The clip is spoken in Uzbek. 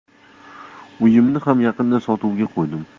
Uyimni ham yaqinda sotuvga qo‘ydim.